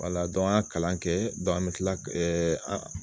an y'a kalan kɛ an be kila ɛɛ an